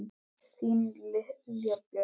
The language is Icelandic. Þín Lilja Björk.